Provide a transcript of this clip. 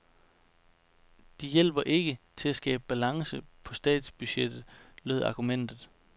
De hjælper ikke til at skabe balance på statsbudgettet, lød argumentet.